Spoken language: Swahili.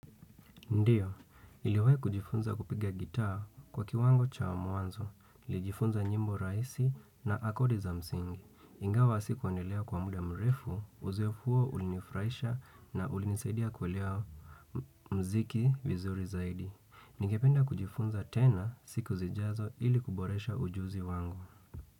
Ndiyo, iliwe kujifunza kupiga gitaa kwa kiwango cha muanzo, nilijifunza nyimbo rahisi na akodi za msingi. Ingawa si kuandelea kwa muda mrefu, uzifuo ulinifurahisha na ulinisaidia kuwelea mziki vizuri zaidi. Ningependa kujifunza tena siku zijazo ili kuboresha ujuzi wangu.